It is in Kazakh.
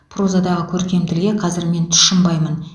прозадағы көркем тілге қазір мен тұщынбаймын